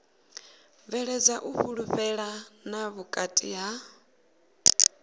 bveledza u fhulufhelana vhukati ha